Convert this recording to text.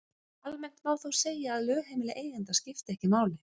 Almennt má þó segja að lögheimili eiganda skipti ekki máli.